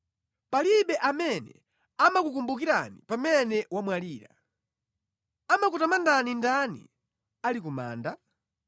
Palibe amene amakukumbukirani pamene wamwalira; Amakutamandani ndani ali ku manda?